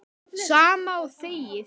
Sama og þegið.